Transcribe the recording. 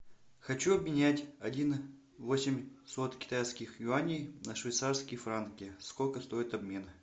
хочу обменять один восемьсот китайских юаней на швейцарские франки сколько стоит обмен